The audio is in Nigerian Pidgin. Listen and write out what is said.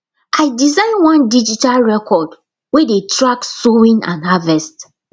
i design one digital record wey dey track sowing and harvest